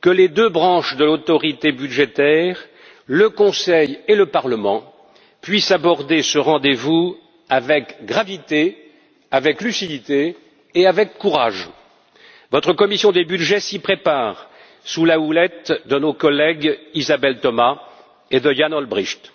que les deux branches de l'autorité budgétaire, le Conseil et le Parlement, puissent aborder ce rendez vous avec gravité, lucidité et courage. Votre commission des budgets s'y prépare sous la houlette de nos collègues Isabelle Thomas et Yann Olbrycht.